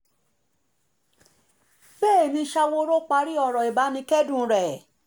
bẹ́ẹ̀ ni sawóoro parí ọ̀rọ̀ ìbánikẹ́dùn rẹ̀